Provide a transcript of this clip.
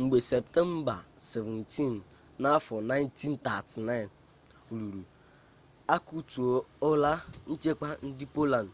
mgbe septemba 17 1939 ruru a kutuola nchekwa ndị poland